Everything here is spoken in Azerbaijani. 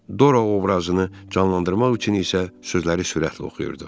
Dora obrazını canlandırmaq üçün isə sözləri sürətli oxuyurdu.